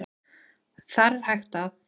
Þar er hægt að